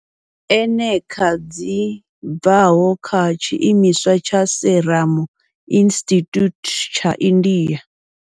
Eneca dzi bvaho kha tshiimiswa tsha Serum Institute tsha India.